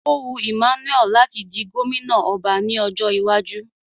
Ó wu Emmanuel láti di gómìnà ọba ní ọjọ́ iwájú